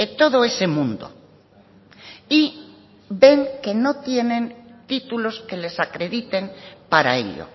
todo ese mundo y ven que no tienen títulos que les acrediten para ello